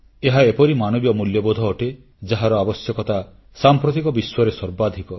ଏହା ଏପରି ମାନବୀୟ ମୂଲ୍ୟବୋଧ ଅଟେ ଯାହାର ଆବଶ୍ୟକତା ସାମ୍ପ୍ରତିକ ବିଶ୍ୱରେ ସର୍ବାଧିକ